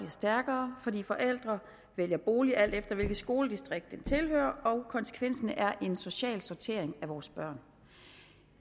stærkere fordi forældre vælger bolig alt efter hvilket skoledistrikt den tilhører og konsekvensen er en social sortering af vores børn